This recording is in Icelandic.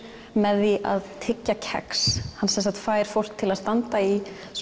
með því að tyggja kex hann sem sagt fær fólk til að standa í